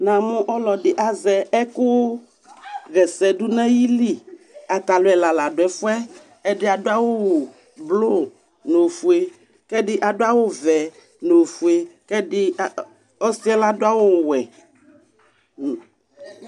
Namʋ ɔlɔdi azɛ ɛkʋ ha ɛsɛ dʋ n'ayili, atani ɛla la dʋ ɛfu yɛ, ɛdi adʋ awʋ blʋ n'ofue k'ɛdi bi adʋ awʋ vɛ n'ofue, k'ɛdi a a ɔsi yɛ ladʋ awʋ wɛ